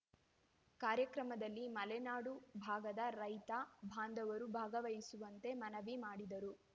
ಕಾರ್ಯಕ್ರಮದಲ್ಲಿ ಮಲೆನಾಡು ಭಾಗದ ರೈತ ಬಾಂಧವರು ಭಾಗವಹಿಸುವಂತೆ ಮನವಿ ಮಾಡಿದರು